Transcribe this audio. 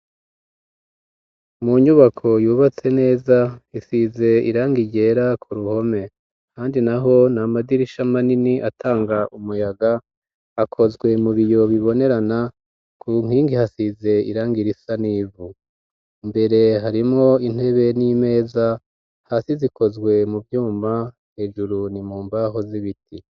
Mu nyubako yubatse neza isize iranga iryera ku ruhome handi na ho ni amadirisha ma nini atanga umuyaga akozwe mu biyo bibonerana ku nkingi hasize irangira isa n'ivu mbere harimo intebe n'imeza hasi zikozwe we mu vyumba hejuru ni mu mbaho z'ibiti.